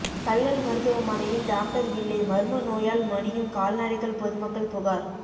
கல்லல் மருத்துவமனையில் டாக்டர் இல்லை மர்ம நோயால் மடியும் கால்நடைகள் பொதுமக்கள் புகார்